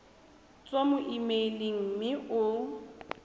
tswa mo emeileng mme o